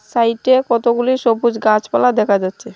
সাইডে কতগুলি সবুজ গাছপালা দেখা যাচ্ছে।